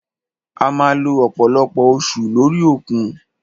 A máà lo ọ̀pọ̀lọpọ̀ oṣù lórí òkun.